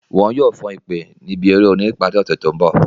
Wọn yoo fan ipè ni ibi ere orin ni ipari ose to nbọ